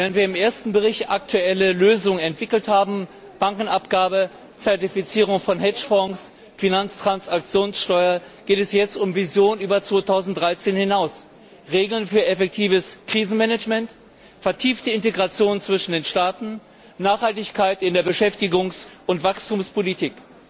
Während wir im ersten Bericht aktuelle Lösungen entwickelt haben Bankenabgabe, Zertifizierung von Hedgefonds, Finanztransaktionssteuer geht es jetzt um Visionen über 2013 hinaus Regeln für effektives Krisenmanagement, vertiefte Integration zwischen den Staaten, Nachhaltigkeit in der Beschäftigungs und Wachstumspolitik.